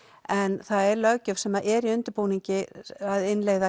en það er löggjöf sem er í undirbúningi að innleiða